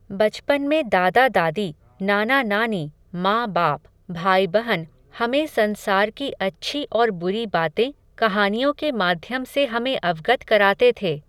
बचपन में दादा दादी, नाना नानी, माँ बाप, भाई बहन हमें संसार की अच्छी और बुरी बातें कहानियों के माध्यम से हमें अवगत कराते थे.